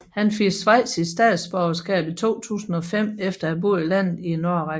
Han fik schweizisk statsborgerskab i 2005 efter at have boet i landet i en årrække